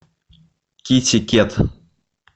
китикет